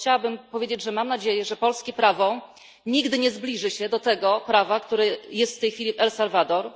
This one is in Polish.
Chciałabym powiedzieć, że mam nadzieję, że polskie prawo nigdy nie zbliży się do tego prawa, które obowiązuje w tej chwili w Salwadorze.